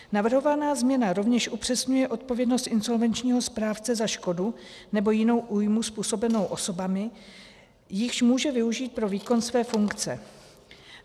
Navrhovaná změna rovněž upřesňuje odpovědnost insolvenčního správce za škodu nebo jinou újmu způsobenou osobami, jichž může využít pro výkon své funkce.